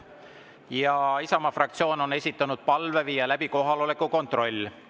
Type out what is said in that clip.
Ja Isamaa fraktsioon on esitanud palve viia läbi kohaloleku kontroll.